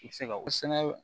I bɛ se ka o sɛnɛ